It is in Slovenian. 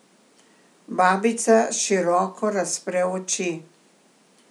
Babica široko razpre oči.